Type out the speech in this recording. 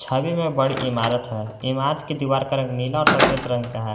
छवि में बड़ी इमारत है इमारत की दीवार का रंग नीला और सफेद रंग का है।